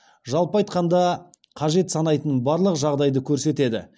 жалпы айтқанда қажет санайтын барлық жағдайды көрсетеді